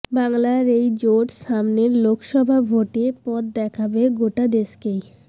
বাংলার এই জোট সামনের লোকসভা ভোটে পথ দেখাবে গোটা দেশকেই